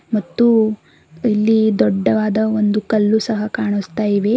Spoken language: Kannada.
ಮತ್ತು ಇಲ್ಲಿ ದೊಡ್ಡದಾದ ಒಂದು ಕಲ್ಲು ಸಹ ಕಾಣಿಸ್ತಾ ಇದೆ.